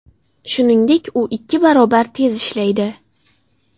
Shuningdek, u ikki barobar tez ishlaydi.